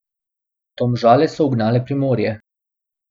Domžale so ugnale Primorje.